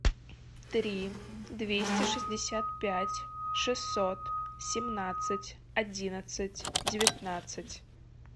три двести шестьдесят пять шестьсот семнадцать одиннадцать девятнадцать